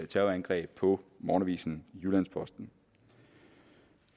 terrorangreb på morgenavisen jyllands posten